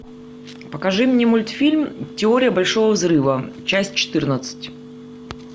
покажи мне мультфильм теория большого взрыва часть четырнадцать